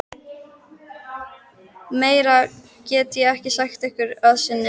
Meira get ég ekki sagt ykkur að sinni.